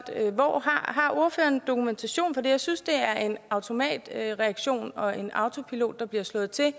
har ordføreren dokumentation for det jeg synes det er en automatreaktion og en autopilot der bliver slået til